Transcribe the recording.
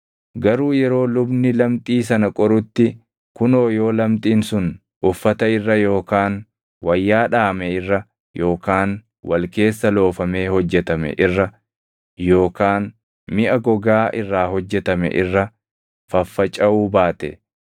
“Garuu yeroo lubni lamxii sana qorutti kunoo yoo lamxiin sun uffata irra yookaan wayyaa dhaʼame irra yookaan wal keessa loofamee hojjetame irra yookaan miʼa gogaa irraa hojjetame irra faffacaʼuu baate,